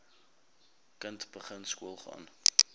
kind begin skoolgaan